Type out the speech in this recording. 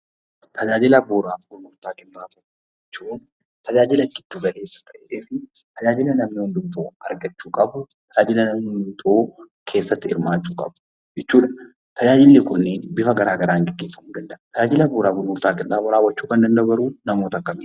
Tajaajila bu'uuraa fi gurgurtaa qinxaaboo jechuun tajaajila giddu galeessa ta'ee fi tajaajila namni hundumtuu argachuu qabu, tajaajila namni hundumtuu keessatti hirmaachuu qabu jechuudha. Tajaajilli kunniin tajaajila bifa garaa garaan gaggeessamuu danda'a. Tajaajila bu'uuraa fi gurgurtaa qinxaamoo raawwachuu kan danda'u garuu namoota akkamiiti?